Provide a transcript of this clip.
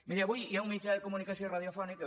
miri avui hi ha un mitjà de comunicació radiofònic que